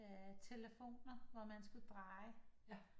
Telefoner hvor man skulle dreje